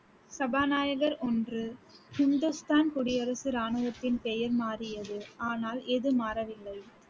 சபாநாயகர் ஒன்று, ஹிந்துஸ்தான் குடியரசு ராணுவத்தின் பெயர் மாறியது ஆனால் எது மாறவில்லை